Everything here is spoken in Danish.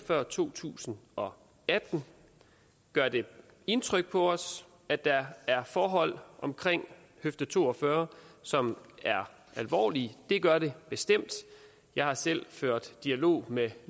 før to tusind og atten gør det indtryk på os at der er forhold omkring høfde to og fyrre som er alvorlige det gør det bestemt jeg har selv ført dialog med